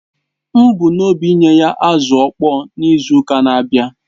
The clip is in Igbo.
M bu n’obi inye ha azụ̀ ọ̀kpọ̀ọ̀ n’izu ụka na-abịa